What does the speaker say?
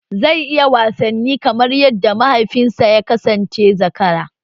Zai iya wasanni kamar yadda mahaifinsa ya kasance zakara?